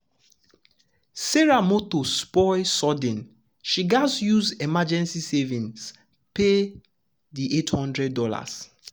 sarah motor spoil sudden she gatz use emergency savings pay pay the $800.